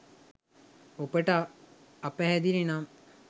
ඔබට අපැහැදිලි නම්